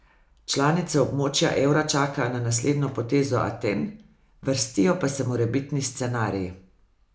Članice območja evra čakajo na naslednjo potezo Aten, vrstijo pa se morebitni scenariji.